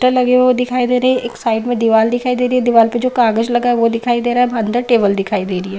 टर लगे हुए दिखाई दे रहे है एक साइड मे दीवाल दिखाई दे रही है दीवाल पे जो कागज लगा है वो दिखाई दे रहा है अंदर टेबल दिखाई दे रही है ।